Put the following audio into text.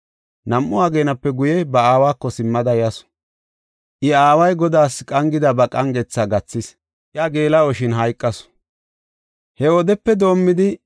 Nam7u ageenape guye, ba aawako simmada yasu. I aaway Godaas qangida ba qangetha gathis; iya geela7oshin hayqasu. He wodepe doomidi,